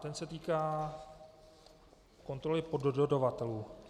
Ten se týká kontroly poddodavatelů.